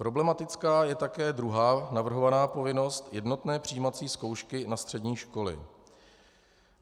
Problematická je také druhá navrhovaná povinnost - jednotné přijímací zkoušky na střední školy.